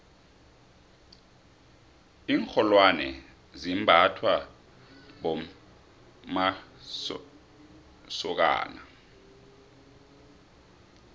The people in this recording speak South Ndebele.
iinrholwone zimbathwa bommqmasokana